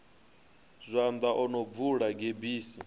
zwanḓa o no bvula gebisi